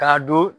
K'a don